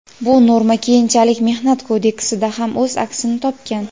bu norma keyinchalik Mehnat kodeksida ham o‘z aksini topgan.